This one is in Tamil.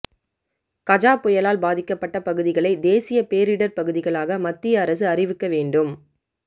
கஜா புயலால் பாதிக்கப்பட்ட பகுதிகளை தேசிய பேரிடர் பகுதிகளாக மத்திய அரசு அறிவிக்க வேண்டும்